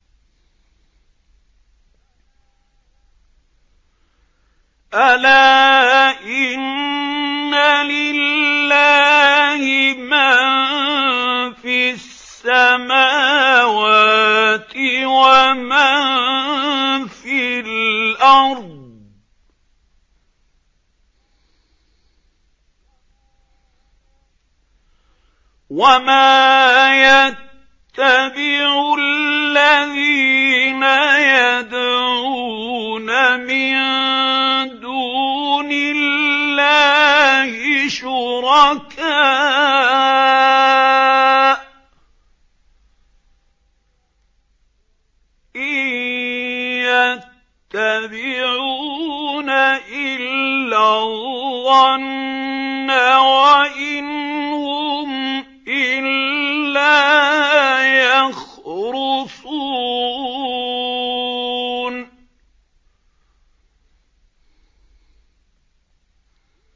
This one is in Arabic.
أَلَا إِنَّ لِلَّهِ مَن فِي السَّمَاوَاتِ وَمَن فِي الْأَرْضِ ۗ وَمَا يَتَّبِعُ الَّذِينَ يَدْعُونَ مِن دُونِ اللَّهِ شُرَكَاءَ ۚ إِن يَتَّبِعُونَ إِلَّا الظَّنَّ وَإِنْ هُمْ إِلَّا يَخْرُصُونَ